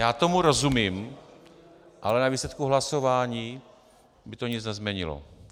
Já tomu rozumím, ale na výsledku hlasování by to nic nezměnilo.